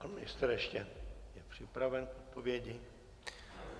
Pan ministr ještě je připraven k odpovědi.